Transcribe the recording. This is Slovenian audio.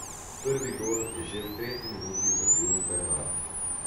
Prvi gol je že v tretji minuti zabil Bernard.